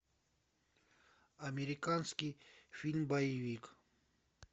американский фильм боевик